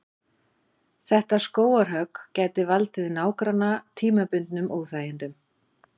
Þetta skógarhögg gæti valdið nágranna tímabundnum óþægindum.